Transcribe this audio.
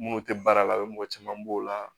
Minnu tɛ baara la o mɔgɔ caman b'o la